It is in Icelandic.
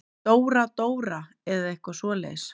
Dóra-Dóra eða eitthvað svoleiðis.